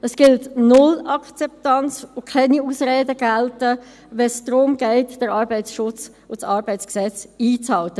Es gibt null Akzeptanz, und es gelten keine Ausreden, wenn es darum geht, den Arbeitsschutz und das ArG einzuhalten.